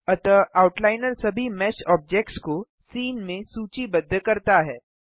अतः आउटलाइनर सभी mesh objects को सीन में सूचीबद्ध करता है